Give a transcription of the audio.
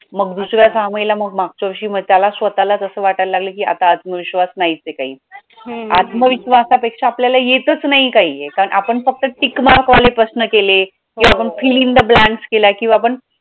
मग दुसऱ्या सहा महिला मग मागच्या वर्षी त्याला मग त्याला स्वतःलाच असं वाटायला लागलं की आता आत्मविश्वास नाहीच आहे काही आत्मविश्वासापेक्षा आपल्याला येतच नाही काही कारण आपण फक्त tickmark वाले प्रश्न केले की आपण fill in the blanks केलंय की आपण